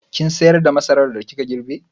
Kin sayar da masaran da kika girbe?